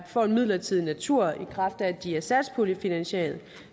får en midlertidig natur i kraft af at de er satspuljefinansieret